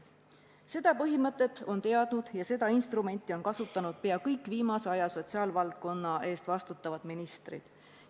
Seda põhimõtet on teadnud ja seda instrumenti on kasutanud pea kõik viimase aja sotsiaalvaldkonna eest vastutavad ministrid.